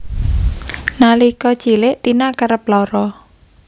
Nalika cilik Tina kerep lara